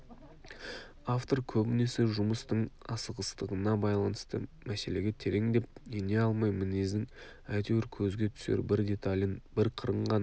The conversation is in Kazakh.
автор көбінесе жұмыстың асығыстығына байланысты мәселеге тереңдеп ене алмай мінездің әйтеуір көзге түсер бір деталін бір қырын ғана